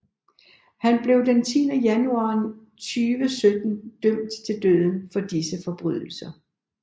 Han blev den 10 januar 2017 dømt til døden for disse forbrydelser